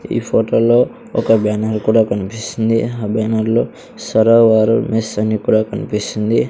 ఈ ఫొటో లో ఒక బ్యానర్ కూడా కన్పిస్తుంది ఆ బ్యానర్ లో సరావారు మెస్ అని కూడా కన్పిస్తుంది .